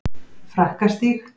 Frakkastíg